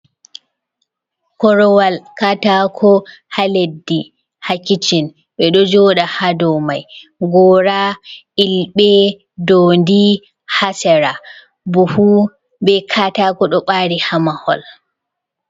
Korowal katako ha leddi ha kicin, ɓe ɗo joda ha dow mai gora ilbe ɗo joɗi nda hasera bufu be katako ɗo ɓari ha mahol.